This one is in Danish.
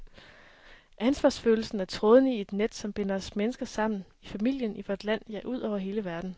Ansvarsfølelsen er trådene i et net, som binder os mennesker sammen, i familien, i vort land, ja ud over hele verden.